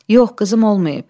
Yox, qızım olmayıb.